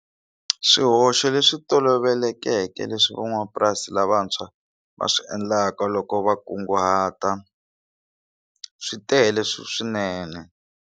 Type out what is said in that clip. Swihoxo leswi tolovelekeke leswi van'wamapurasi lavantshwa va swi endlaka loko va kunguhata swi tele swinene.